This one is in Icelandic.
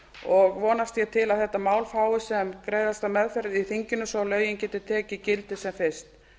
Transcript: og vonast ég til að þetta mál fái sem greiðasta meðferð í þinginu svo lögin geti tekið gildi sem fyrst